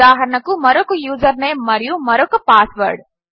ఉదాహరణకు మరొక యూజర్నేమ్ మరియు మరొక పాస్వర్డ్